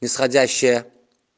исходящая